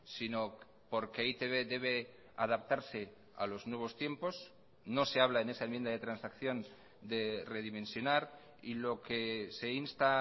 sino porque e i te be debe adaptarse a los nuevos tiempos no se habla en esa enmienda de transacción de redimensionar y lo que se insta a